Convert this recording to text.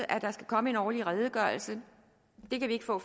at der skal komme en årlig redegørelse det kan vi ikke få